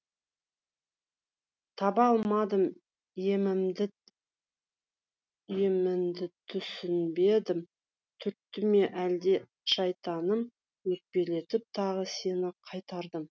таба алмадым емімді түсінбедім түртті ме әлде шайтаным өкпелетіп тағы сені қайтардым